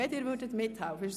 – Dies ist der Fall.